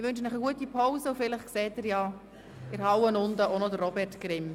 Ich wünsche Ihnen eine gute Pause, und vielleicht sehen Sie unten in der Halle auch noch Robert Grimm.